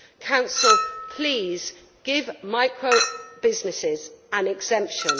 Council, please, give microbusinesses an exemption.